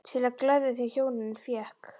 Til að gleðja þau hjónin fékk